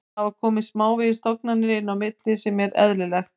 Það hafa komið smávegis tognanir inn á milli sem er eðlilegt.